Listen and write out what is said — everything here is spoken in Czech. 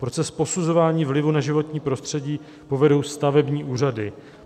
Proces posuzování vlivu na životní prostředí povedou stavební úřady.